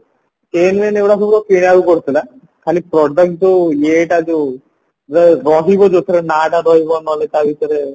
କିଣିବାକୁ ପଡୁଥିଲା ଖାଲି product ଯୋଉ ଇଏଟା ଯୋଉ ର ରହିବା ଯୋଉଥିରେ ନାଁଟା ରହିବା ନହେଲେ ତା ଭିତରେ